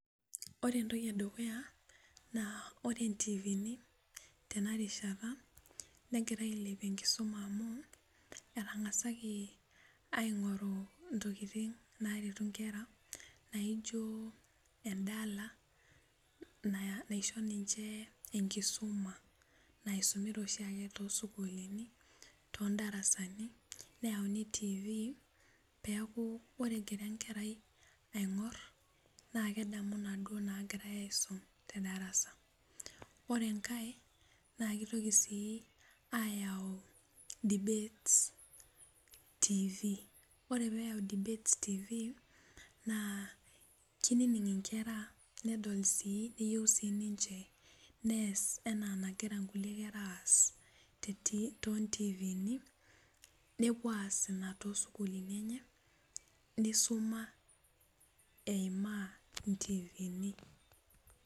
Ore entoki edukuya naa ore intiivini tena rishata negira ailepie enkisuma amu etang'asaki aing'oru intokitin naaretu inkera naijio endala naisho jimche enkisuma naisumita ooshiake toosukuulini neyauni tiivi peeke ore egira enkeai aing'or naa kadamu inaaduu naagirai aing'or tedarasa ore enkae naa keitoki sii aayau dibet tiivi naa keininig inkera nedol sii neyieu nees enaa enegira inkulie kera aas toontiivini nepuo aaas ina toosukulini enye neisuma eimaa intiivini